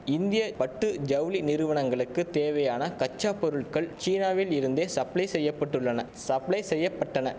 இந்திய பட்டு ஜவுளி நிறுவனங்களுக்கு தேவையான கச்சா பொருள்கள் சீனாவில் இருந்தே சப்ளை செய்ய பட்டுள்ளன சப்ளை செய்ய பட்டன